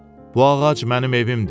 Bu ağac mənim evimdir.